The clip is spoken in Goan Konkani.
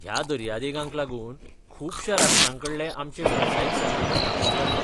ह्या दर्यादेगांक लागून खुबश्या राष्ट्रांकडले आमचे वेवसायीक संबंद स्थापन जाल्ले.